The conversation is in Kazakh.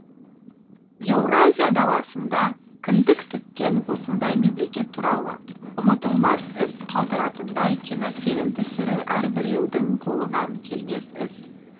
еуразия даласында кіндік тіккен осындай мемлекет туралы ұмытылмас із қалдыратындай кинофильм түсіру әрбіреудің қолынан келмес іс